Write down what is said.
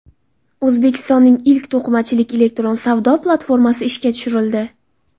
O‘zbekistonning ilk to‘qimachilik elektron savdo platformasi ishga tushirildi.